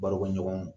Barokɛɲɔgɔnw